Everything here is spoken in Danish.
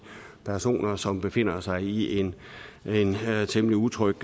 personer som befinder sig i en temmelig utryg